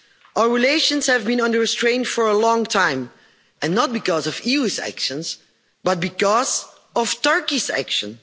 Our relations have been under strain for a long time and not because of the EU's actions, but because of Turkey's actions.